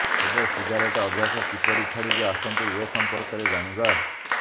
ତେବେ ସିଗାରେଟ୍ ଅଭ୍ୟାସ କିପରି ଛାଡିବେ ଆସନ୍ତୁ ଏ ସଂପର୍କରେ ଜାଣିବା